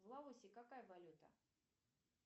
в лаосе какая валюта